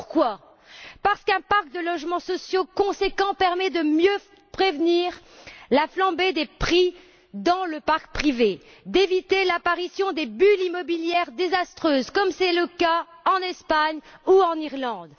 Pourquoi? Parce qu'un parc de logements sociaux conséquent permet de mieux prévenir la flambée des prix dans le parc privé, d'éviter l'apparition des bulles immobilières désastreuses, comme c'est le cas en Espagne ou en Irlande.